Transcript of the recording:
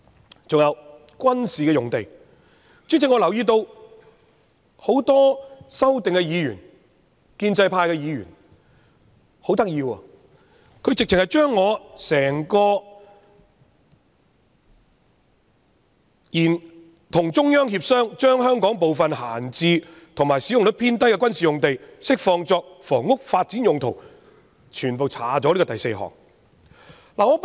此外，主席，在軍事用地方面，我留意到很多提出修正案的建制派議員很有趣，把我的議案第四點有關"與中央政府協商，將香港部分閒置或使用率偏低的軍事用地釋放作房屋發展用途"的內容刪去。